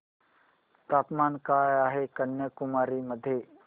तापमान काय आहे कन्याकुमारी मध्ये